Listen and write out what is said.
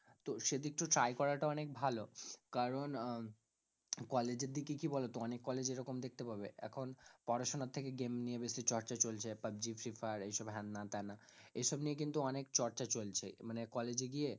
তো সেইদিক তো try করাটা অনেক ভালো কারণ আহ কলেজের দিকে কি বলো তো অনেক কলেজে এরকম দেখতে পাবে এখন পড়াশোনার থেকে game নিয়ে বেশি চর্চা চলছে পাবজি, ফ্রী-ফায়ার এইসব হ্যানাত্যানা এসব নিয়ে কিন্তু অনেক চর্চা চলছে মানে কলেজে গিয়ে